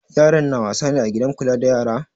Yaran na wasa ne a gidan kula da yara?